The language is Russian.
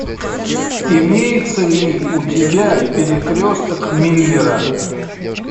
имеется ли у тебя перекресток миллера